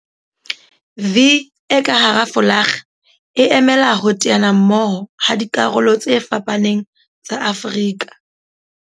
'V' e ka hara folakga e emela ho teana mmoho ha dikarolo tse fapaneng tsa Afrika